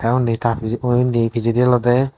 te unni ta pijebo inni pijedi olode.